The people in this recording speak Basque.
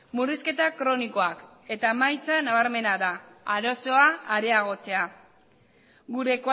murrizketa kronikoak eta emaitza nabarmena da arazoa areagotzea gure